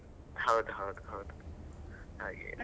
ಹೌದು ಹೌದು ಹೌದು, .